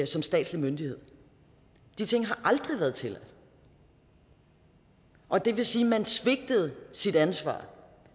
som statslig myndighed de ting har aldrig været tilladt og det vil sige at man svigtede sit ansvar